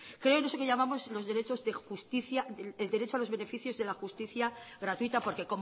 creo que en eso que llamamos el derecho a los beneficios de la justicia gratuita porque